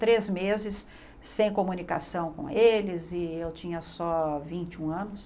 Três meses sem comunicação com eles e eu tinha só vinte e um anos.